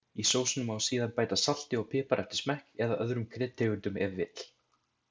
Í sósuna má síðan bæta salti og pipar eftir smekk, eða öðrum kryddtegundum ef vill.